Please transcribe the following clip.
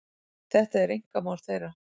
Þetta er einkamál þeirra